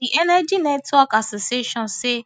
di energy networks association say